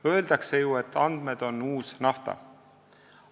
Öeldakse ju, et andmed on uus nafta.